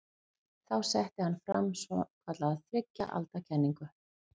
Þá setti hann fram svokallaða þriggja alda kenningu.